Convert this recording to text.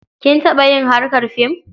Kin taɓa yin harkar fim?